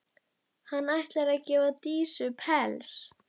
Hann ætlar að gefa Dísu pels.